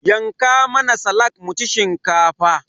yanka mana salak muci shinkafa